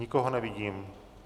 Nikoho nevidím.